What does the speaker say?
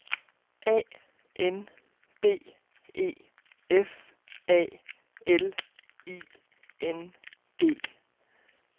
A N B E F A L I N G